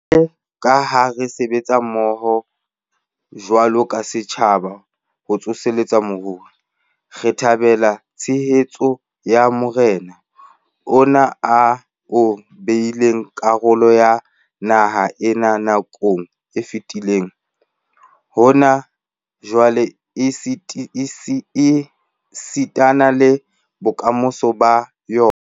Jwalo ka ha re sebetsa mmoho jwalo ka setjhaba ho tsoseletsa moruo, re thabela tshehetso ya marena, ona ao e bileng karolo ya naha ena nakong e fetileng, hona jwale esitana le bokamosong ba yona.